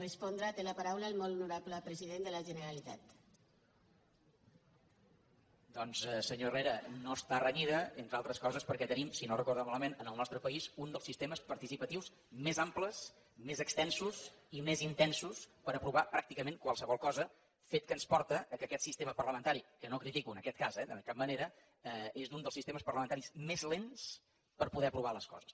doncs senyor herrera no està renyida entre altres coses perquè tenim si no ho recorda malament en el nostre país un dels sistemes participatius més amples més extensos i més intensos per aprovar pràcticament qualsevol cosa fet que ens porta que aquest sistema parlamentari que no el critico en aquest cas eh de cap manera és un dels sistemes parlamentaris més lents per poder aprovar les coses